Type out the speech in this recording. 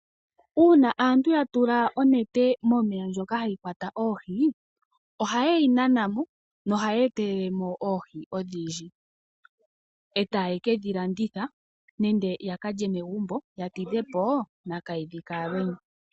Uuna aantu yatula onete momeya ndjoka hayi kwata oohi ohaye yi nanamo no ohayi etelelemo oohi odhindji ee taye kedhilanditha nenge yakalye megumbo yatidhepo nakahidhi kaAlwenya.